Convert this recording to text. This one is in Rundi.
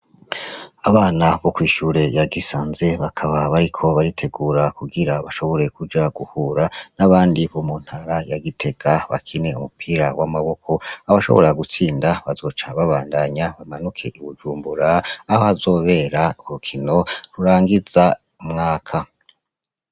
Abana bo kw'ishure ya Gisanze , bakaba bariko baritegura kugira bashobore kuja guhura n'abandi bo muntara ya Gitega, bakine umupira w'amaboko, aho bashobora gutsinda bazoca babandanya bamanuke i Bujumbura, aho hazobera urukino rurangiza umwaka.